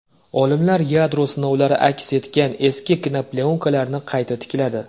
Olimlar yadro sinovlari aks etgan eski kinoplyonkalarni qayta tikladi .